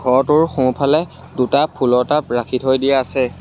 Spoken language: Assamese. ঘৰটোৰ সোঁফালে দুটা ফুলৰ টাব ৰাখি থৈ দিয়া আছে।